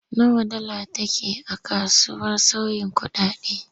Nawa dala take a kasuwar sauyin kuɗaɗe?